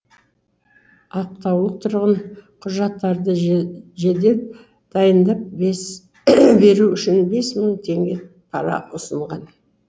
ақтаулық тұрғын құжаттарды жедеп дайындап беру үшін бес мың теңге пара ұсынған